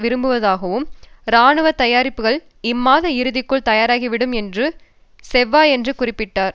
விரும்புவதாகவும் இராணுவ தயாரிப்புக்கள் இம்மாத இறுதிக்குள் தயாராகிவிடும் என்றும் செவ்வாயன்று குறிப்பிட்டார்